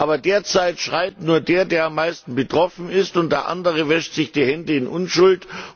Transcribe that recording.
Aber derzeit schreit nur der, der am meisten betroffen ist, und der andere wäscht sich die Hände in Unschuld.